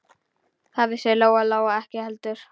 Það vissi Lóa-Lóa ekki heldur.